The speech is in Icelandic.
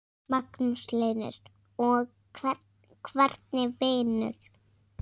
Magnús Hlynur: Og hvernig vinur?